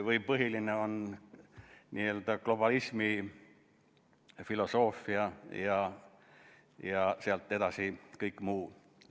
Või on põhiline globalismi filosoofia ja sealt edasi kõik muu?